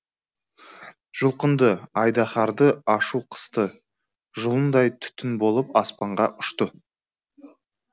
жұлқынды айдаһарды ашу қысты жұлындай түтін болып аспанға ұшты